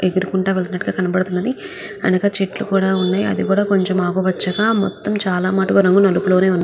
ఎగురుకుంటూ వేల్లుతునాటు గ కనిపిస్తునది అనగా చేతుల్లు కూడా వున్నాయి అనగా ఆకుపచ